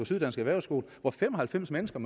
syddansk erhvervsskole hvor fem og halvfems mennesker